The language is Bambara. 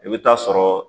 I bɛ taa sɔrɔ